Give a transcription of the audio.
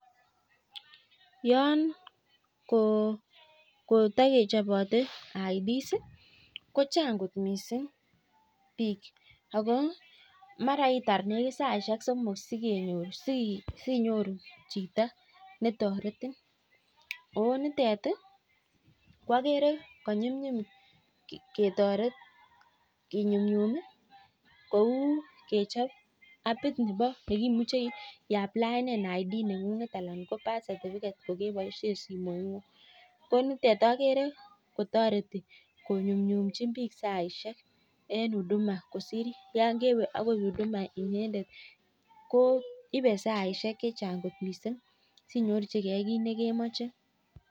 Yoon kotakechobote identity documents kochang kot missing bik Ako maraitar negit saisiek somok sikonyor anan sinyoru chito netaretin ooh nitet ih koagere ko nyumnyum ketaret kinyunyum ih kouu kechob apit nebo imuche iaplaen identity document neng'ung'et anan anan ko birth certificate kokebaisien simoit ng'ung. Ko nitet agere kotareti konyunyumi saisiek en huduma kosir yan kewe akoi huduma inyendet koibe saisiek chechang missing